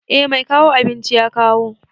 Eh mai kawo abinci ya kawo.